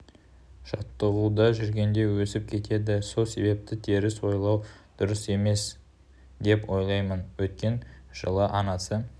жаттығуда жүргенде өсіп кетеді сол себепті теріс ойлау дұрыс емес деп ойлаймын өткен жылы анасы